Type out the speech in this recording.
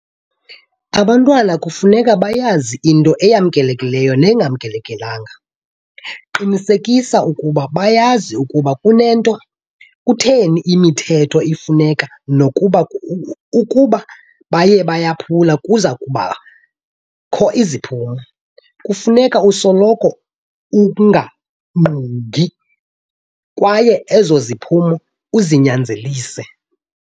Abantwana kufuneka bayazi into eyamkelekileyo nengamkelekanga. Qinisekisa okokuba bayazi ukuba kutheni imithetho ifuneka nokokuba ukuba bayayaphula kuza kubakho iziphumo. Kufuneka usoloko ungagungqi kwaye ezo ziphumo uzinyanzelise.